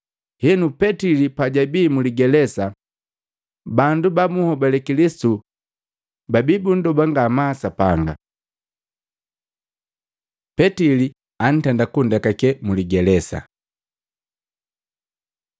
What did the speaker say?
Henu, Petili pajabi muligelesa, bandu ba bunhobale Kilisitu babii bunndobe ngamaa kwaka Sapanga. Petili antenda kundekake muligelesa